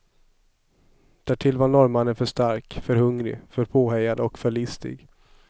Därtill var norrmannen för stark, för hungrig, för påhejad och för listig.